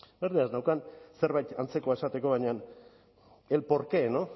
zerbait antzekoa esateko baina el por qué